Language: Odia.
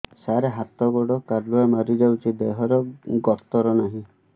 ସାର ହାତ ଗୋଡ଼ କାଲୁଆ ମାରି ଯାଉଛି ଦେହର ଗତର ନାହିଁ